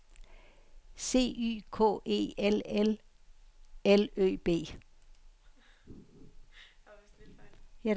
C Y K E L L L Ø B